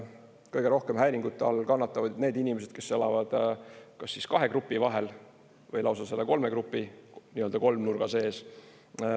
Kõige rohkem häiringute all kannatavad need inimesed, kes elavad kas kahe grupi vahel või lausa selle kolme grupi kolmnurga sees.